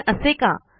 पण असे का